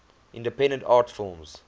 independent art films